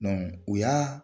u y'a